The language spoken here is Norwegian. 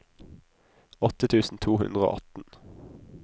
åtte tusen to hundre og atten